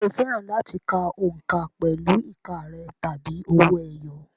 Ǹjẹ́ o fẹ́ràn láti ka òǹkà pẹ̀lú ìka rẹ̀ tàbí owó ẹyọ?